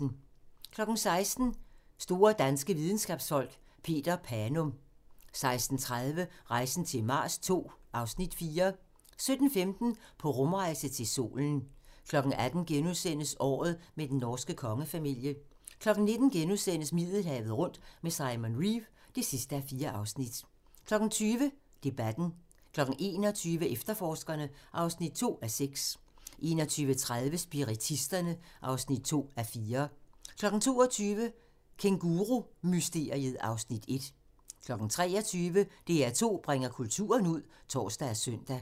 16:00: Store danske videnskabsfolk: Peter Panum 16:30: Rejsen til Mars II (Afs. 4) 17:15: På rumrejse til solen 18:00: Året med den norske kongefamilie * 19:00: Middelhavet rundt med Simon Reeve (4:4)* 20:00: Debatten 21:00: Efterforskerne (2:6) 21:30: Spiritisterne (2:4) 22:00: Kængurumysteriet (Afs. 1) 23:00: DR2 bringer kulturen ud (tor og søn)